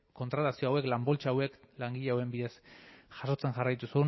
kontratazio hauek lan poltsa hauek langile hauen bidez jasotzen jarraitu